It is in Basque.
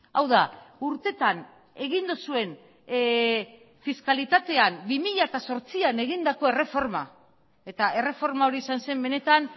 hau da urtetan egin duzuen fiskalitatean bi mila zortzian egindako erreforma eta erreforma hori izan zen benetan